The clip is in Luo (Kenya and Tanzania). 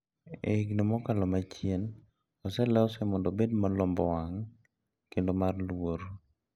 E higni mokalo machiegni oselose mondo obed malombo wang` kendo mar luor.